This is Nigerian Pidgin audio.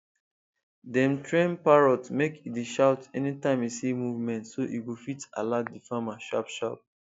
dem train parrot make e dey shout anytime e see movement so e go fit alert d farmer sharpsharp